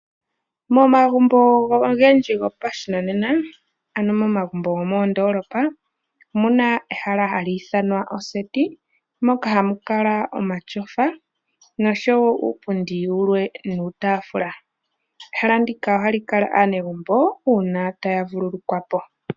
Momagumbo ogendji gopashinanena, ano momagumbo go moondoolopa omu na ehala hali ithanwa oseti moka hamu kala omatyofa noshowo uupundi wulwe nuutaafula. Ehala ndika ohali kala aanegumbo uuna taya vululukwa po.